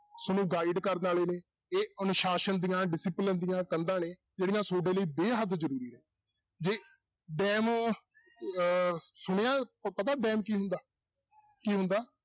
ਤੁਹਾਨੂੰ guide ਕਰਨ ਵਾਲੇ ਨੇ ਇਹ ਅਨੁਸਾਸਨ ਦੀਆਂ discipline ਦੀਆਂ ਕੰਧਾਂ ਨੇ ਜਿਹੜੀਆਂ ਤੁਹਾਡੇ ਲਈ ਬੇਹੱਦ ਜ਼ਰੂਰੀ ਆ, ਜੇ ਡੈਮ ਅਹ ਸੁਣਿਆ ਪ~ ਪਤਾ ਡੈਮ ਕੀ ਹੁੰਦਾ ਕੀ ਹੁੰਦਾ?